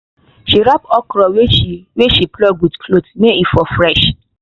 she wrap okra wey she wey she pluck with cloth may e for fresh